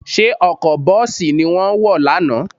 Ṣé ọkọ̀ bọ́ọ̀sì ni wọ́n wọ̀ lánàá?